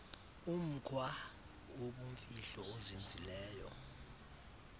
umkhwa wobumfihlo ozinzileyo